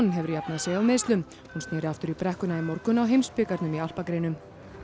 hefur jafnað sig af meiðslum hún snéri aftur í brekkuna í morgun í heimsbikarnum í alpagreinum